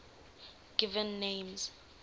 given names